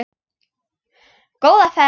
Góða ferð!